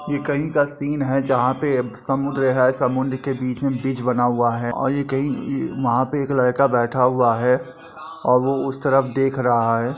ये कहीं का सीन है जहां पे समुद्र है। समुद्र के बीच बीच बना हुआ है और ये कई वहाँ पे एक लड़का बैठा हुआ है और वो उस तरफ देख रहा है।